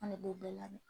An ne b'o bɛɛ labɛn